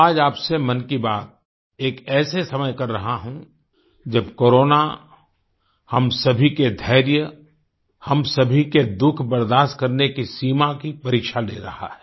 आज आपसे मन की बात एक ऐसे समय कर रहा हूँ जब कोरोना हम सभी के धैर्य हम सभी के दुःख बर्दाश्त करने की सीमा की परीक्षा ले रहा है